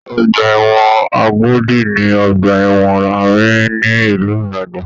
Ọgbà ẹ̀wọ̀n Agodi ni ọgbà ẹ̀wọ̀n àárín ni ìlú Ìbàdàn.